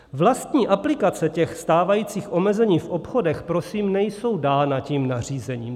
Vlastní aplikace těch stávajících omezení v obchodech, prosím, nejsou dána tím nařízením.